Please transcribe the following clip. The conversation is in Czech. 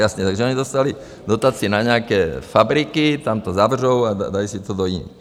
Jasně, takže oni dostali dotaci na nějaké fabriky, tam to zavřou a dají si to do jiných.